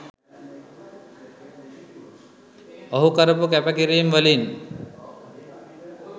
ඔහු කරපු කැපකිරීම් වලින්